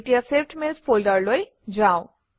এতিয়া saved mails ফল্ডাৰলৈ যাওঁ